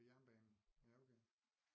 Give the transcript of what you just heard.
Ved jernbanen ja okay